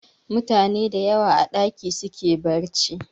Mutane dayawa a ɗaki suke barci